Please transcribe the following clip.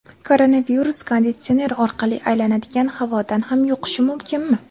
Koronavirus konditsioner orqali aylanadigan havodan ham yuqishi mumkinmi?.